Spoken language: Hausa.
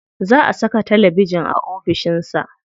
Za a saka talabijin a ofishin sa.